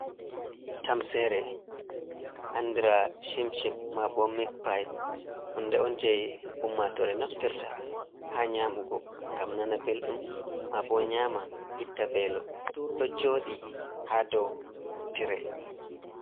Tamsere andra shimpshim ma ɓo mic pipe hunde on jeyi ummatore naftirta ha nyamugo gam nana belɗum ma bo nyama itta velo ɗo joɗi ha dow tire.